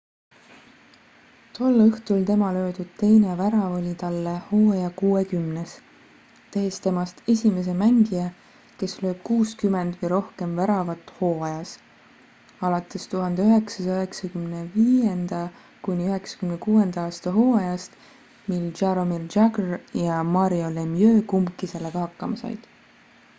tol õhtul tema löödud teine värav oli talle hooaja kuuekümnes tehes temast esimese mängija kes lööb 60 või rohkem väravat hooajas alates 1995.–96. aasta hooajast mil jaromir jagr ja mario lemieux kumbki sellega hakkama said